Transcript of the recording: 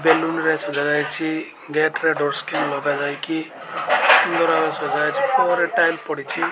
Balloon ରେ ସଜାଯାଇଛି gate ରେ ଡୋର ସ୍କ୍ରିନ୍ ଲଗାଯାଇକି ସୁନ୍ଦର ଭାବେ ସଜାଯାଇଛି ଉପରେ ଟାଇଲି ପଡ଼ିଛି।